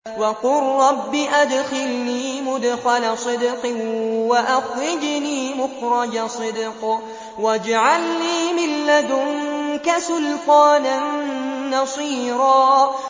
وَقُل رَّبِّ أَدْخِلْنِي مُدْخَلَ صِدْقٍ وَأَخْرِجْنِي مُخْرَجَ صِدْقٍ وَاجْعَل لِّي مِن لَّدُنكَ سُلْطَانًا نَّصِيرًا